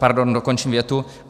Pardon, dokončím větu.